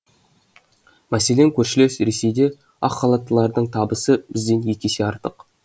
мәселен көршілес ресейде ақ халаттылардың табысы бізден екі есе артық